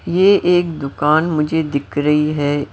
ये एक दुकान मुझे दिख रही है--